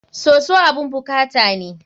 Soso abun bukata ne.